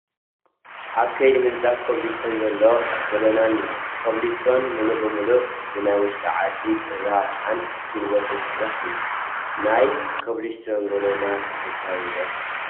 ኣብ ከይዲ ምንፃፍ ኮብል ስቶን ዘሎ ጐደና እኒሀ፡፡ ኮብል ስቶን ሙሉእ ብሙሉእ ብናይ ውሽጢ ዓዲ ጥረ ኣቕሓን ጉልበትን ዝስራሕ እዩ፡፡ ናይ ኮብል ስቶን ጐደና ተፈታዊ ዶ?